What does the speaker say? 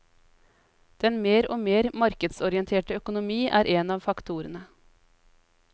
Den mer og mer markedsorienterte økonomi er en av faktorene.